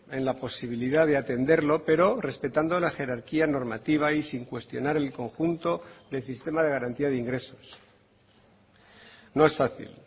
en la posibilidad de atenderlo pero respetando la jerarquía normativa y sin cuestionar el conjunto del sistema de garantía de ingresos no es fácil